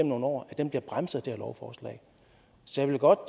nogle år bliver bremset her lovforslag så jeg vil godt